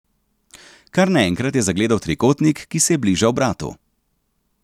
Kar naenkrat je zagledal trikotnik, ki se je bližal bratu.